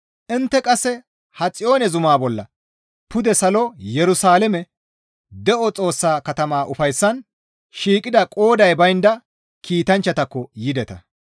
Intte qasse ha Xiyoone zumaa bolla, pude salo Yerusalaame, de7o Xoossaa katama ufayssan shiiqida qooday baynda kiitanchchatakko yideta.